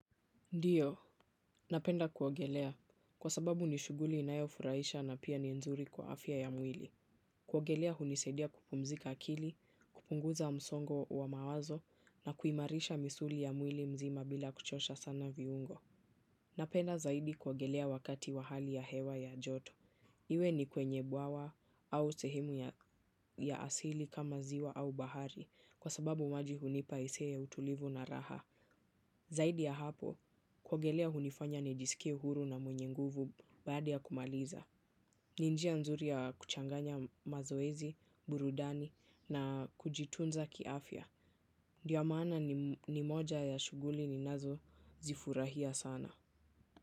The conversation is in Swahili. Ndiyo, napenda kuogelea. Kwa sababu ni shuguli inayo lfuraisha na pia ni nzuri kwa afya ya mwili. Kuogelea hunisaidia kupumzika akili, kupunguza msongo wa mawazo na kuimarisha misuli ya mwili mzima bila kuchosha sana viungo. Napenda zaidi kuogelea wakati wa hali ya hewa ya joto. Iwe ni kwenye bwawa au sehrmu ya asili kama ziwa au bahari kwa sababu maji hunipa hisia ya utulivu na raha. Zaidi ya hapo, kiogelea hunifanya nijisikie huru na mwenye nguvu baada ya kumaliza. Ni njiw ya nzuri ya kuchanganya mazoezi, burudani na kujitunza kiafya. Ndiyo maana ni moja ya shuguli ninazo zifurahia sana.